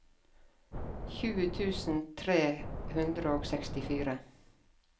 tjue tusen tre hundre og sekstifire